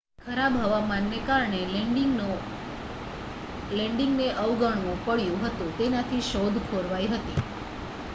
ખરાબ હવામાનને કારણે લેન્ડિંગને અવગણવું પડ્યું હતું તેનાથી શોધ ખોરવાઈ હતી